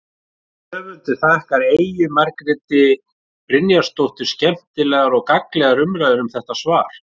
Höfundur þakkar Eyju Margréti Brynjarsdóttur skemmtilegar og gagnlegar umræður um þetta svar.